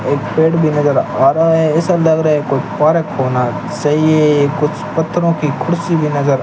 एक पेड़ भी नज़र आ रहा है ऐसा लग रहा है कोई पार्क होना सही है ये कुछ पत्थरों की कुर्सी भी नज़र --